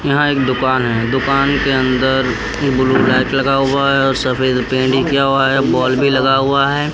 यहाँ एक दुकान है दुकान के अंदर ये ब्लू लाइट लगा हुआ है और सफ़ेद पेंट किया हुआ है बोल्ब भी लगा हुआ है।